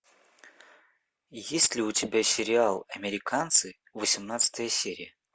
есть ли у тебя сериал американцы восемнадцатая серия